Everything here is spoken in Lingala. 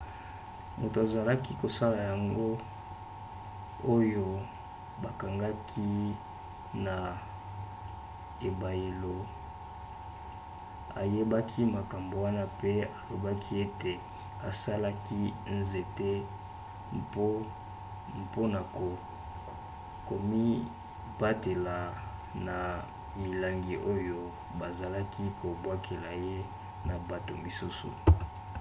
moto azalaki kosala yango oyo bakangaki na ebayelo aboyaki makambo wana mpe alobaki ete asalaki nzete mpona komibatela na milangi oyo bazalaki kobwakela ye na bato mosusu